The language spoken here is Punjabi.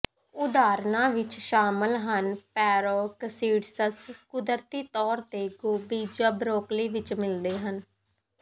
ਉਦਾਹਰਣਾਂ ਵਿੱਚ ਸ਼ਾਮਲ ਹਨ ਪੇਰੋਕਸਿਡਸਸ ਕੁਦਰਤੀ ਤੌਰ ਤੇ ਗੋਭੀ ਜਾਂ ਬਰੌਕਲੀ ਵਿੱਚ ਮਿਲਦੇ ਹਨ